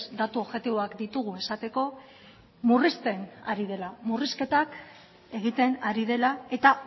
datu objektiboak ditugu esateko murrizten ari dela murrizketak egiten ari dela eta